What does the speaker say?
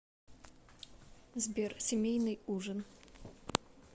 сбер семейный ужин